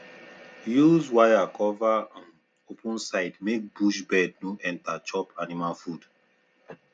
use wire cover um open side make bush bird no enter chop animal food